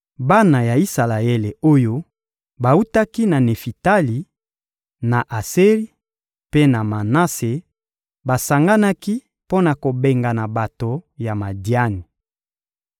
Bana ya Isalaele oyo bawutaki na Nefitali, na Aseri mpe na Manase basanganaki mpo na kobengana bato ya Madiani.